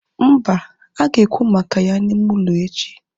Mba, ha ga ekwu maka ya na ime ụlọ echi